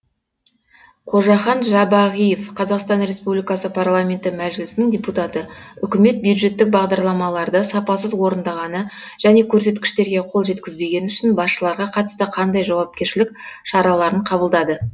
қожахан жабағиев қазақстан республикасы парламенті мәжілісінің депутаты үкімет бюджеттік бағдарламаларды сапасыз орындағаны және көрсеткіштерге қол жеткізбегені үшін басшыларға қатысты қандай жауапкершілік шараларын қабылдады